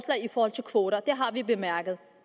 i forhold til kvoter det har vi bemærket